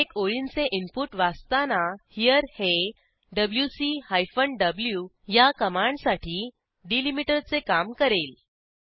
अनेक ओळींचे इनपुट वाचताना हेरे हे डब्ल्यूसी हायफन व्ही या कमांडसाठी डिलिमीटरचे काम करेल